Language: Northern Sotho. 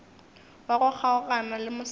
wa go kgaogana le mosadi